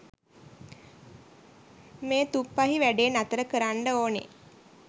මේ තුප්පහි වැඩේ නතර කරන්ඩ ඕනෙ.